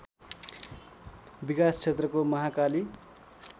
विकास क्षेत्रको महाकाली